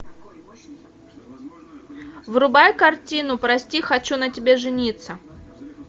врубай картину прости хочу на тебе жениться